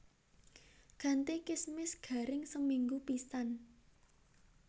Ganti kismis garing seminggu pisan